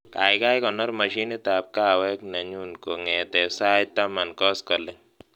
Kaikai konor mashinitab kahawek nenyu kongetee sait taman koskolik